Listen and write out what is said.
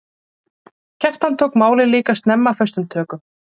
Kjartan tók málið líka snemma föstum tökum.